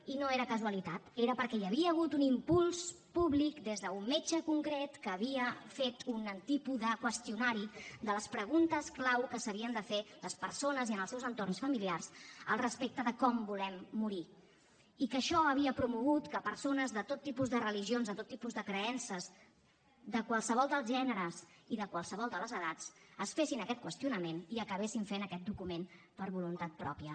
i no era casualitat era perquè hi havia hagut un impuls públic des d’un metge concret que havia fet un tipus de qüestionari de les preguntes clau que s’havien de fer les persones i en els seus entorns familiars al respecte de com volem morir i que això havia promogut que persones de tot tipus de religions de tot tipus de creences de qualsevol dels gèneres i de qualsevol de les edats es fessin aquest qüestionament i acabessin fent aquest document per voluntat pròpia